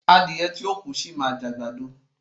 Adìẹ tí ò kú, sì máa jẹ àgbàdo.